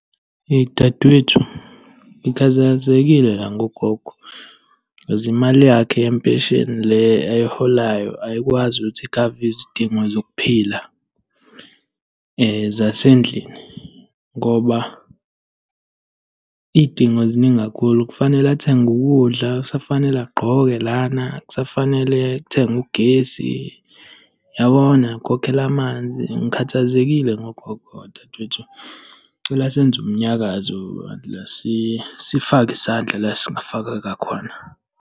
Eyi dadewethu, ngikhathazekile la ngogogo, cause imali yakhe yempesheni le ayiholayo ayikwazi ukuthi ikhave izidingo zokuphila zasendlini, ngoba iy'dingo ziningi kakhulu. Kufanele athenge ukudla, kusafanele agqoke lana, kusafanele kuthengwe ugesi, yabona, nokukhokhela amanzi. Ngikhathazekile ngogogo la dadewethu. Ngicela senze umnyakazo la, sifake isandla la esingafaka ngakhona.